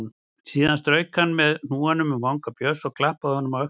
Síðan strauk hann með hnúanum um vanga Björns og klappaði honum á öxlina.